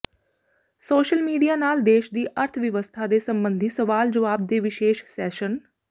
social media ਨਾਲ ਦੇਸ਼ ਦੀ ਅਰਥ ਵਿਵਸਥਾ ਦੇ ਸਬੰਧੀ ਸਵਾਲ ਜਵਾਬ ਦੇ ਵਿਸ਼ੇਸ਼ ਸੈਸ਼ਨ